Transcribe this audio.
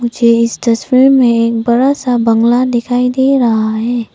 मुझे इस तस्वीर में एक बड़ा सा बंगला दिखाई दे रहा है।